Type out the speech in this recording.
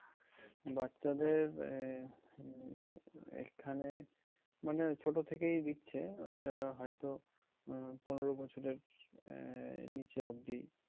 বাচ্চাদের আহ উম এইখানে মানে ছোট থেকেই দিচ্ছে। ঐটা হয়তো আহ পনেরো বছরের আহ নিচে অব্দি।